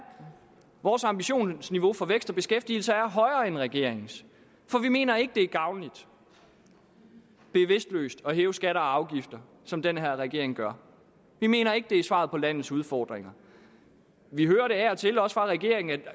vores ambitionsniveau for vækst og beskæftigelse er højere end regeringens for vi mener ikke det er gavnligt bevidstløst at hæve skatter og afgifter som den her regering gør vi mener ikke det er svaret på landets udfordringer vi hører af og til også fra regeringen at